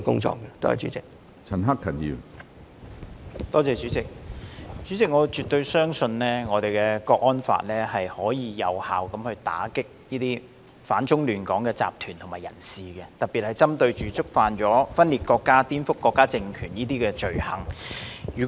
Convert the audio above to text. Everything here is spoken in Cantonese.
主席，我絕對相信《香港國安法》能有效打擊反中亂港的集團及人士，特別是針對觸犯分裂國家、顛覆國家政權等罪行的人士。